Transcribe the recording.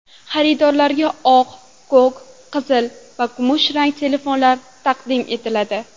Xaridorlarga oq, ko‘k, qizil va kumushrang telefonlar taqdim etiladi.